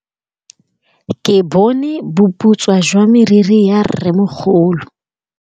Ke bone boputswa jwa meriri ya rrêmogolo.